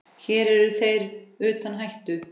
Hér eru þeir utan hættu.